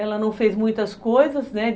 Ela não fez muitas coisas, né?